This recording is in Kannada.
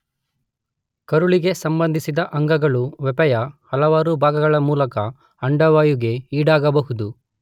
ಕರುಳಿಗೆ ಸಂಬಂಧಿಸಿದ ಅಂಗಗಳು ವಪೆಯ ಹಲವಾರು ಭಾಗಗಳ ಮೂಲಕ ಅಂಡವಾಯುವಿಗೆ ಈಡಾಗಬಹುದು.